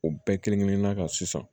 O bɛɛ kelen kelenna ka sisan